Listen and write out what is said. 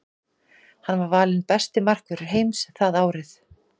Hann var valinn besti markvörður heims það árið.